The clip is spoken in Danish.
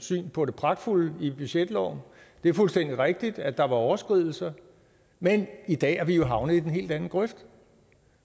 syn på det pragtfulde i budgetloven det er fuldstændig rigtigt at der var overskridelser men i dag er vi jo havnet i den helt anden grøft